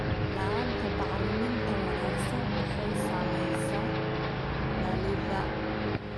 La'aanta bacriminta wanaagsan waxay saamaysaa dhalidda.